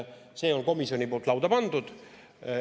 See on komisjoni poolt lauda pandud.